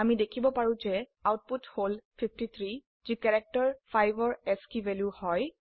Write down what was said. আমি দেখিব পাৰো যে আউটপুট হল 53 যি ক্যাৰেক্টাৰ 5ৰ আস্কী ভ্যালু হয়